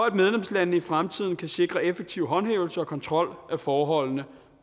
at medlemslandene i fremtiden kan sikre effektiv håndhævelse af og kontrol med forholdene